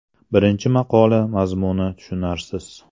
Birinchisi maqola mazmuni tushunarsiz.